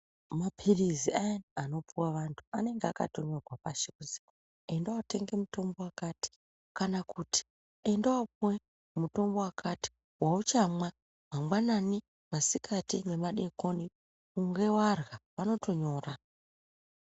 Maphirizi ayani anopuve vantu anenga akatonyorwa pashi kuzi enda votenge mutombo vakati. kana kuti endavopuve mutombo vakati vauchamwa mangwanani, masikati nemadekoni ingevarya vanotonyora.